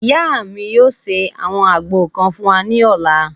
Ìyá mi yóò ṣe àwọn àgbo kan fún wa ní ọ̀la